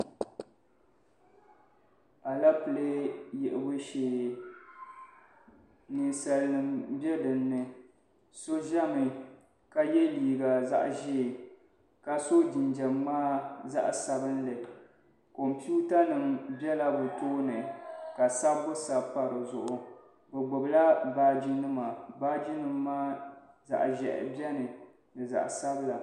Alepile yiɣibu shee ninsalinima be dini ni so zami ka ye liiga zaɣ'ʒee ka so jinjam ŋmaa zaɣ'sabinli kompiwutanima bela bɛ tooni ka sabbu sabi pa di zuɣu bi gbubila baajinima baajinima maa zaɣ'ʒɛhi beni ni zaɣ'sabila.